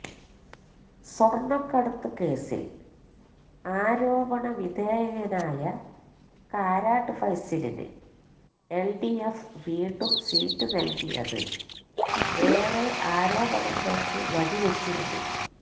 സ്വര്ണ്ണക്കടത്ത് കേസില് ആരോപണ വിധേയനായ കാരാട്ട് ഫൈസലിന് എല്ഡിഎഫ് വീണ്ടും സീറ്റ് നല്കിയത് ഏറെ ആരോപണങ്ങള്ക്ക് വഴിവെച്ചിരുന്നു